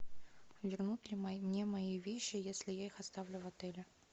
вернут ли мне мои вещи если я их оставлю в отеле